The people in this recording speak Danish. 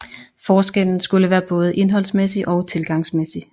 Forskellen skulle være både indholdsmæssig og tilgangsmæssig